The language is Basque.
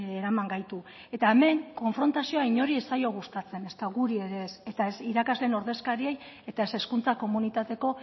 eraman gaitu eta hemen konfrontazio inori ez zaio gustatzen ezta guri ere ez eta ez irakasleen ordezkariei eta ez hezkuntza komunitateko